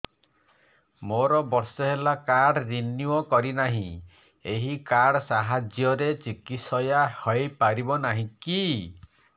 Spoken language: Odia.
ମୋର ବର୍ଷେ ହେଲା କାର୍ଡ ରିନିଓ କରିନାହିଁ ଏହି କାର୍ଡ ସାହାଯ୍ୟରେ ଚିକିସୟା ହୈ ପାରିବନାହିଁ କି